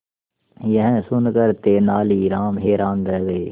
यह सुनकर तेनालीराम हैरान रह गए